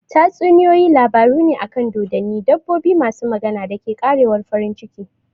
Tatsuniyoyi labaru ne akan dodonni, dabbobi masu magana, da ke ƙarewar farin ciki.